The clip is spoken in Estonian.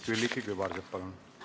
Külliki Kübarsepp, palun!